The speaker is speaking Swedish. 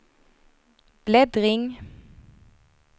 bläddring